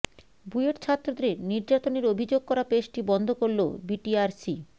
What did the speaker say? বুয়েট ছাত্রদের নির্যাতনের অভিযোগ করা পেজটি বন্ধ করল বিটিআরসি